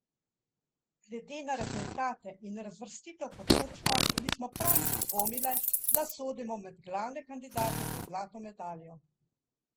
Glede na rezultate in razvrstitev po točkah nismo prav nič dvomile, da sodimo med glavne kandidate za zlato medaljo.